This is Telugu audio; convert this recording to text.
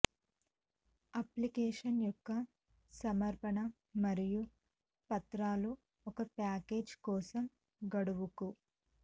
అప్లికేషన్ యొక్క సమర్పణ మరియు పత్రాలు ఒక ప్యాకేజీ కోసం గడువుకు